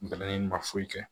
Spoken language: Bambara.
Bɛnɛ ma foyi kɛ